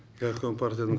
горком партияның